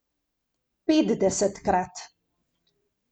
Petdesetkrat!